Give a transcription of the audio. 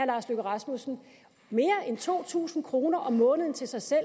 lars løkke rasmussen mere end to tusind kroner om måneden til sig selv